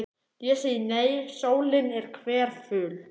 Ég segi nei, sólin er hverful.